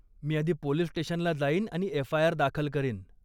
मी आधी पोलीस स्टेशनला जाईन आणि एफआयआर दाखल करीन.